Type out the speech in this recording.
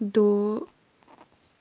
да